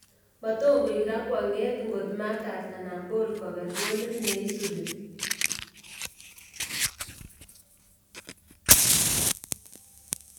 Matokourak kwanget ngot Marcus ana Paul koker golit neisubi.